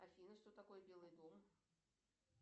афина что такое белый дом